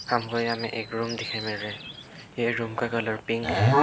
हमको यहां में एक रूम देखने को मिल रहा है ये रूम का कलर पिंक है।